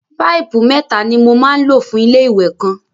Páìpù mẹ́ta ni mo máa ń lò fún ilé-ìwẹ̀ kan.